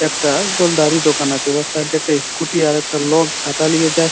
একটা গোলদারি দোকান আছে উয়ার সাইড দিয়ে একটা স্কুটি আর একটা লোক ছাতা লিয়ে যা--